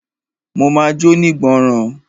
Mo ma jónígbọràn.